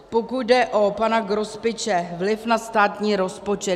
Pokud jde o pana Grospiče - vliv na státní rozpočet.